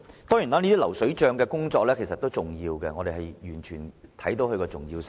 當然，這些工作都屬重要，我們完全明白它們的重要性。